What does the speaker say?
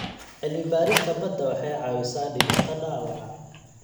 Cilmi-baarista badda waxay caawisaa dhimista dhaawaca.